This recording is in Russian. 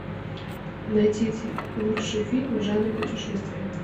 найдите лучший фильм жанра путешествие